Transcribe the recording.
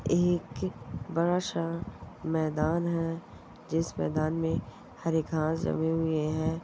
एक बड़ा सा मैदान है जिस मैदान में हरे घास जमे हुए है।